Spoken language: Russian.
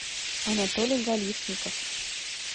анатолий галишников